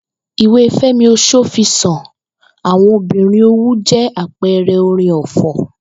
Ìwé Fé̩mi Os̩ófisàn ‘Àwo̩n Obìnrin Òwu’ jé̩ àpe̩e̩ré̩ orin ò̩fò̩